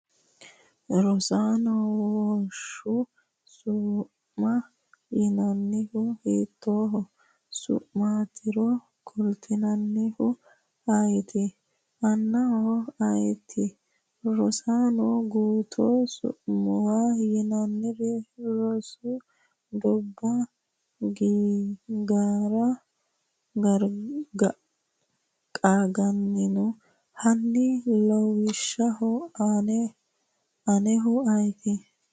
Rosaano wosho su’ma yinannihu hiittoo su’maatiro kulannoehu ayeeti? aannoehu ayeeti? Rosaano gutu su’muwa yinannire Rs Doobba, Garro qaagginanni? Hanni lawishsha aannoehu ayeeti?